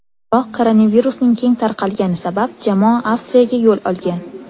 Biroq koronavirusning keng tarqalgani sabab, jamoa Avstriyaga yo‘l olgan.